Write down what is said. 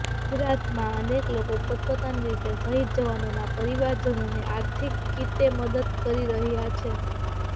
ગુજરાતમાં અનેક લોકો પોતપોતાની રીતે શહીદ જવાનોના પરિવારજનોને આર્થિક કીતે મદદ કરી રહ્યા છે